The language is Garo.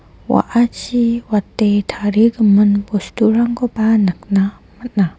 wa·achi wate tarigimin bosturangkoba nikna man·a.